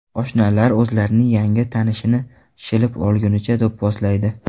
Oshnalar o‘zlarining yangi tanishini shilib, o‘lgunicha do‘pposlaydi.